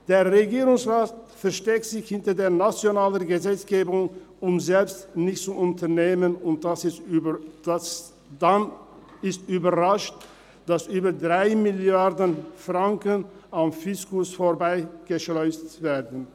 Der Regierungsrat versteckt sich hinter der nationalen Gesetzgebung, um selbst nichts zu unternehmen und ist dann überrascht, dass über 3 Mrd. Franken am Fiskus vorbei geschleust werden.